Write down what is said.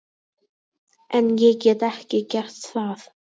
En ég get ekki gert það.